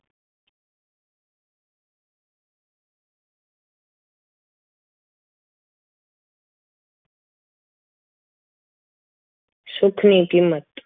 સુખ ની કિંમત